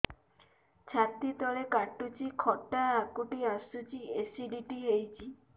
ଛାତି ତଳେ କାଟୁଚି ଖଟା ହାକୁଟି ଆସୁଚି ଏସିଡିଟି ହେଇଚି